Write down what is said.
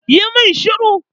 Yi mun shiru!